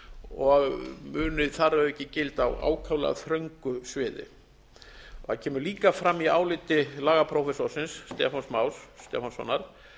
og muni þar að auki gilda á ákaflega þröngu sviði það kemur líka fram í áliti lagaprófessorsins stefáns más stefánssonar